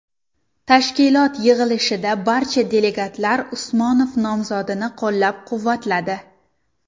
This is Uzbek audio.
Tashkilot yig‘ilishida barcha delegatlar Usmonov nomzodini qo‘llab-quvvatladi.